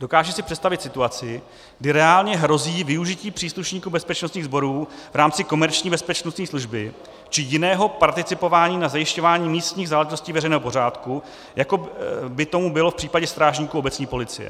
Dokážu si představit situaci, kdy reálně hrozí využití příslušníků bezpečnostních sborů v rámci komerční bezpečnostní služby či jiného participování na zajišťování místních záležitostí veřejného pořádku, jako by tomu bylo v případě strážníků obecní policie.